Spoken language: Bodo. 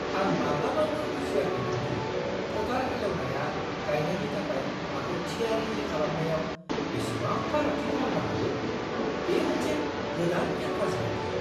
आं माब्लाबाबो बुजियाखैमोन दि फोथार हालेवनाया गायनायनि थाखाय हाखौ थियारि खालामनायाव बेसेबां फारागथि खालामनो हागौ। बेयो मोनसे गोदान केनभास बायदि!